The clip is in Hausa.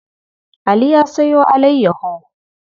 Ali ya sayo alayyaho.